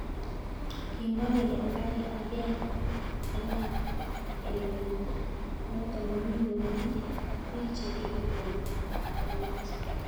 kimwa kole angen emet noton komii komnye ak piik cheripe ko myachen